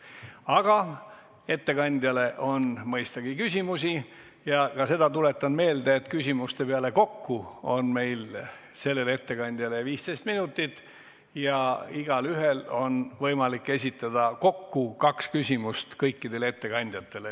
Aga ettekandjale on mõistagi küsimusi ja ka seda tuletan meelde, et küsimuste peale kokku on meil sellele ettekandjale 15 minutit ja igaühel on võimalik esitada kokku kaks küsimust kõikidele ettekandjatele.